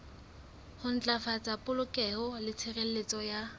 ntlafatsa polokeho le tshireletso ya